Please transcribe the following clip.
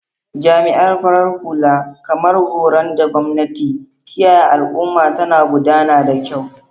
Jami'an farar hula, kamar goron da gwamnati, kiyaye al'umma tana gudana da kyau.